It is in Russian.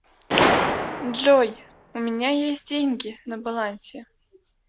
джой у меня есть деньги на балансе